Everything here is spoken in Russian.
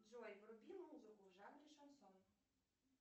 джой вруби музыку в жанре шансон